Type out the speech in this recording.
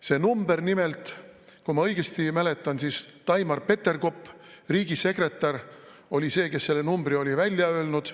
See number nimelt, kui ma õigesti mäletan, siis Taimar Peterkop, riigisekretär, oli see, kes selle numbri oli välja öelnud.